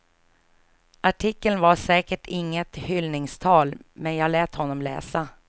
Artikeln var säkert inget hyllningstal, men jag lät honom läsa.